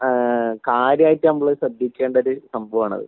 ആ കാര്യായിട്ട് നമ്മള് ശ്രദ്ധിക്കേണ്ട ഒരു സംഭവാണത്